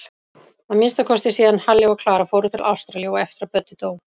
Að minnsta kosti síðan Halli og Klara fóru til Ástralíu og eftir að Böddi dó.